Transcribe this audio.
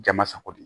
Jama sago de ye